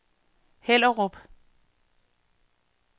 Hellerup